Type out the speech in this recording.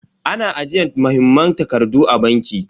Ana ajiyar muhimman takardu a banki.